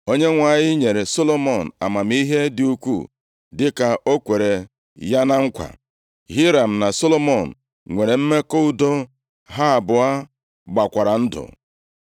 Onyenwe anyị nyere Solomọn amamihe dị ukwuu dịka o kwere ya na nkwa. Hiram na Solomọn nwere mmekọ udo, ha abụọ gbakwara ndụ.